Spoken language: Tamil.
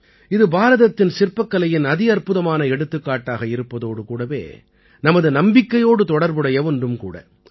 இது பாரதத்தின் சிற்பக்கலையின் அதிஅற்புதமான எடுத்துக்காட்டாக இருப்பதோடு கூடவே நமது நம்பிக்கையோடு தொடர்புடைய ஒன்றும் கூட